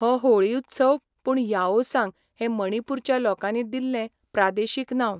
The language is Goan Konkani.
हो होळी उत्सव पूण याओसांग हें मणिपूरच्या लोकांनी दिल्लें प्रादेशिक नांव.